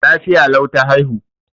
Lafiya lau ta haihu.